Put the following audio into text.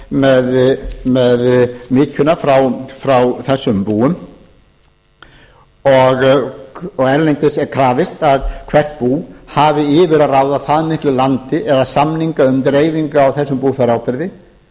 með mykjuna frá þessum búum og erlendis er krafist að hvert bú hafi yfir að ráða það miklu landi eða samninga um dreifingu á þessum búfjáráburði